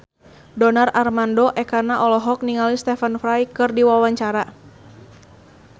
Donar Armando Ekana olohok ningali Stephen Fry keur diwawancara